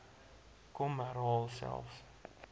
hom herhaal selfs